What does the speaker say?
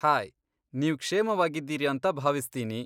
Hi, ನೀವ್ ಕ್ಷೇಮವಾಗಿದ್ದೀರಿ ಅಂತ ಭಾವಿಸ್ತೀನಿ.